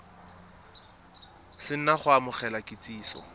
se na go amogela kitsiso